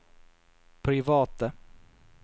private